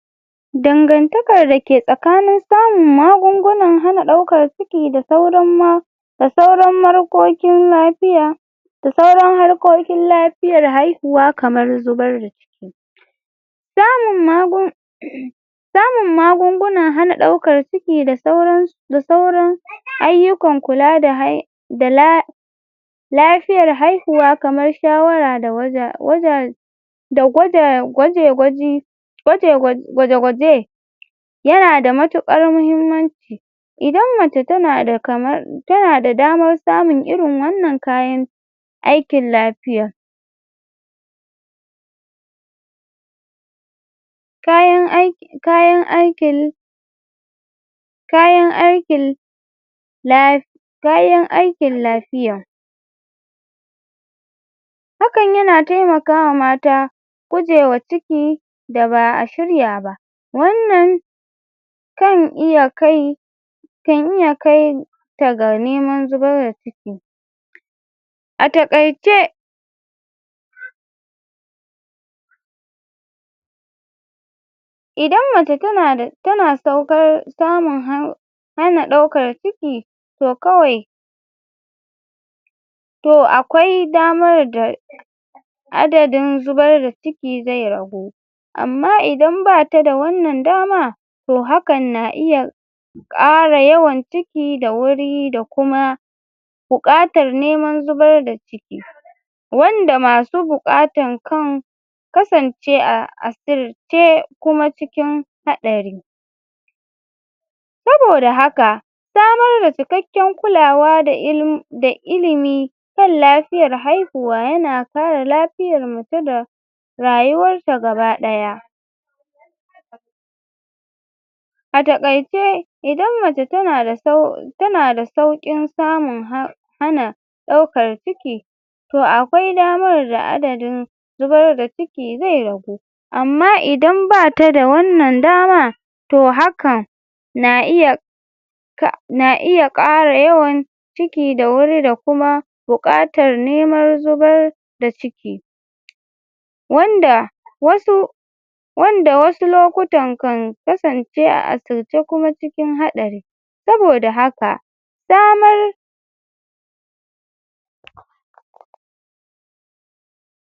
Dangantakar da ke tsakanin samun magungunan hana ɗaukar ciki da sauran ma da sauran lapiya da sauran harkokin lapiyar haihuwa kamar zubar da ciki samun samun magungunan hana ɗaukar ciki da sauran ayyukan kula da lafiyar haihuwa kamar shawara da da gwada gwaje-gwaji gwaje-gwaje yana da matuƙar mahimmanci idan mace tana da damar samun irin wannan kayan aikin lapiya kayan aikin kayan aikin kayan aikin lapiya hakan yana taimakawa mata gujewa ciki da ba a shirya ba wannan kan iya kai kan iya kai ta ga neman zubar da ciki a taƙaice idan mace tana da hana ɗaukar ciki to kawai to akwai damar da adadin zubar da ciki zai ragu amma idan bata da wannan dama to hakan na iya ƙara yawan ciki da wuri da kuma buƙatar neman zubar da ciki wanda masu buƙatan kan kasance a asirce kuma cikin haɗari saboda haka samar da cikakken kulawa da ilimi kan lafiyat haihuwa yana kare lapiyar mace da rayuwar ta gaba ɗaya a takaice idan mace tana da sauƙin samun hana ɗaukan ciki to akwai damar da adadin zubar da ciki zai ragu amma idan bata da wannan dama to hakan na iya na iya ƙara yawan ciki da wuri da kuma buƙatar neman zubar da ciki wanda wasu wanda wasu lokutan kan kasance a asirce kuma cikin haɗari saboda haka samar